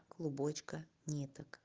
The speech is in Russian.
клубочка ниток